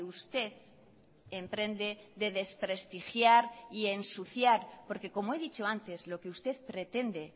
usted emprende de desprestigiar y ensuciar porque como he dicho antes lo que usted pretende